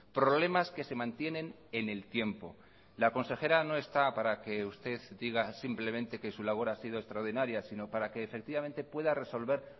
problemas que se mantienen en el tiempo la consejera no está para que usted diga simplemente que su labor ha sido extraordinaria sino para que efectivamente pueda resolver